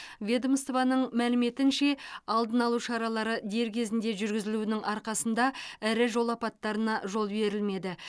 ведомствоның мәліметінше алдына алу шаралары дер кезінде жүргізілуінің арқасында ірі жол апаттарына жол берілмеді